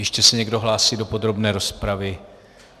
Ještě se někdo hlásí do podrobné rozpravy?